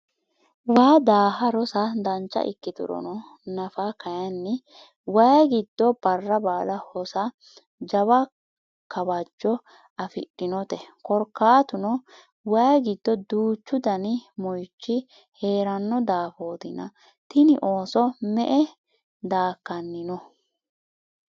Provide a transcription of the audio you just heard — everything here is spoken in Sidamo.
waa daaha rosa dancha ikkiturono nafa kayiinni wayi giddo barra baala hosa jawa kawajjo afidhinote, korkaatuno wayi gido duuchu dani moyiichi heeranno daafootina tini ooso me''e daakkanni no?